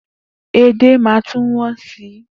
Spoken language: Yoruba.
Edé máa tún wọ́n sí.